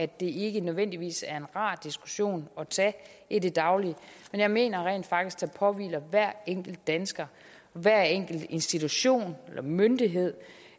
det ikke nødvendigvis er en rar diskussion at tage i det daglige men jeg mener rent faktisk at det påhviler hver enkelt dansker og hver enkelt institution eller myndighed